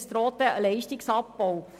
Es droht in der Folge ein Leistungsabbau.